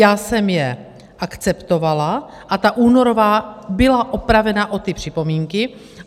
Já jsem je akceptovala a ta únorová byla opravena o ty připomínky.